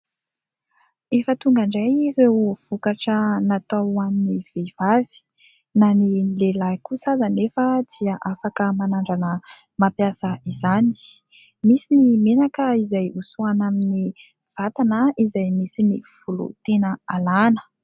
Efa tonga indray ireo vokatra natao ho an'ny vehivavy. Na ny lehilahy kosa aza anefa dia afaka manandrana mampiasa izany. Misy ny menaka izay hosorana amin'ny vatana izay misy ny volo tiana alàna.